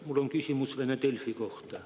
Mul on küsimus vene Delfi kohta.